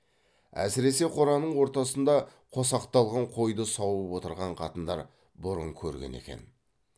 әсіресе қораның ортасында қосақталған қойды сауып отырған қатындар бұрын көрген екен